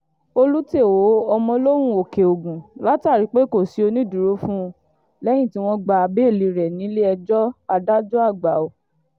olú-tèo ọmọlóhùn òkè-ogun látàrí pé kò sí onídùúró fún un lẹ́yìn tí wọ́n gba béèlì rẹ̀ nílẹ̀-ẹjọ́ adájọ́-àgbà io